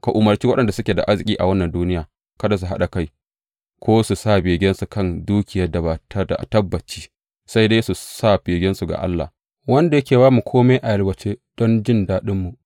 Ka umarci waɗanda suke da arziki a wannan duniya kada su ɗaga kai ko su sa begensu a kan dukiyar da ba ta da tabbaci, sai dai su sa begensu ga Allah, wanda yake ba mu kome a yalwace don jin daɗinmu.